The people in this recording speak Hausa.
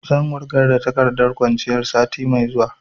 Zan wurgar da takardar kwanciyar sati mai zuwa